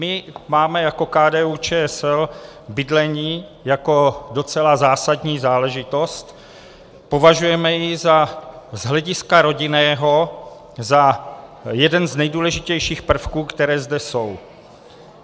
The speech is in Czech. My máme jako KDU-ČSL bydlení jako docela zásadní záležitost, považujeme ji z hlediska rodinného za jeden z nejdůležitějších prvků, které zde jsou.